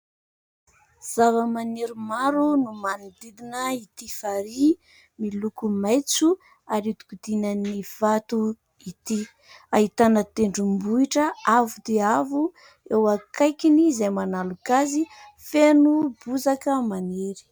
Zavamaniry maro no manodidina itỳ farihy miloko maitso ary ihodikodinan'ny vato itỳ. Ahitana tendrombohitra avo dia avo eo akaikiny izay manaloka azy, feno bozaka maniry.